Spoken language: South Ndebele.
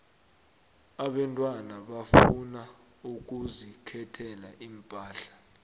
abentwana bafuna ukuzikhethela iimpahla